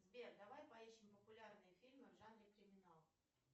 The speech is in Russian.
сбер давай поищем популярные фильмы в жанре криминал